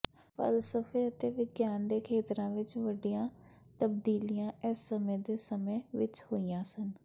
ਫ਼ਲਸਫ਼ੇ ਅਤੇ ਵਿਗਿਆਨ ਦੇ ਖੇਤਰਾਂ ਵਿੱਚ ਵੱਡੀਆਂ ਤਬਦੀਲੀਆਂ ਇਸ ਸਮੇਂ ਦੇ ਸਮੇਂ ਵਿੱਚ ਹੋਈਆਂ ਸਨ